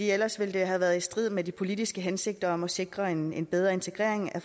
ellers ville det have været i strid med de politiske hensigter om at sikre en en bedre integrering af